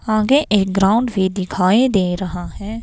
आगे एक ग्राउंड भी दिखाई दे रहा है.